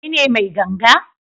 Kai ne mai ganga?